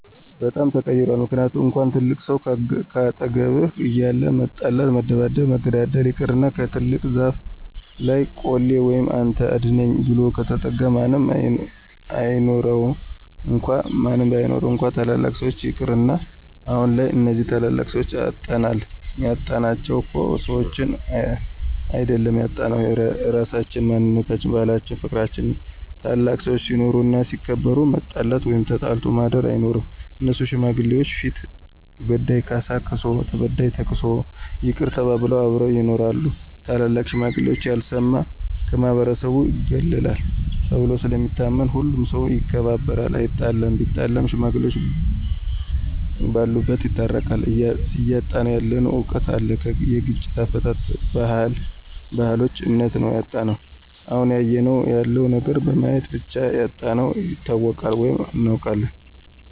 በጣም ተቀይሯል ምክንያቱም እንኳን ትልቅ ሰው ካጠገብህ እያለ መጣላት መደባደብ መገዳደል ይቅርና ከትልቅ ዛፍ ለይ ቆሌ ወይም አንተ አድነኝ ብሎ ከተጠጋ ማንም አይኑረው እንኳን ታላላቅ ሰዎች ይቅርና። አሁንላይ እነዚህን ታላላቅ ሰዎች አጠናል ያጣናቸው እኮ ሰዎችን አይድል ያጣነው ራሳችን፣ ማንነታችን፣ ባህላችን ፍቅርችንን ነው። ታላላቅ ሰዎች ሲኖሩ እና ሲከበሩ መጣላት ወይም ተጣልቶ ማድር አይኖርም እነሱ ሽማግሌዎች ፊት በዳይ ካሳ ክሶ ተበዳይ ተክሶ ይቅር ተባብለው አብረው ይኖራሉ። ታላላቅ ሽማግሌዎች ያልሰማ ከማህበረሰቡ ይገለላል ተብሎ ስለሚታመን ሁሉም ሠው ይከባበራል አይጣለም ቢጣላም ሽማግሌዎቹ በሉበት ይታረቃሉ። እያጣነው ያለነው እውቀት አለ የግጭት አፈታት፣ ባህልች እምነታችም ነው ያጣነው። አሁን እያየነው ያለው ነገር በማየት ብቻ ያጣነውን ይታወቃል ወይም እናውቃለን።